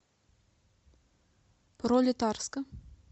пролетарска